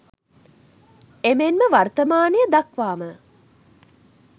එමෙන්ම වර්තමානය දක්වාම